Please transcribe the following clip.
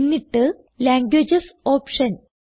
എന്നിട്ട് languages option